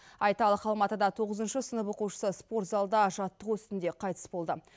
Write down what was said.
айталық алматыда тоғызыншы сынып оқушысы спорт залда жаттығу үстінде қайтыс болды